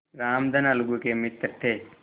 रामधन अलगू के मित्र थे